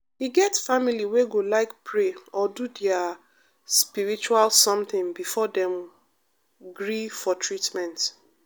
e get family wey go like pray or do their spiritual something before dem gree for treatment.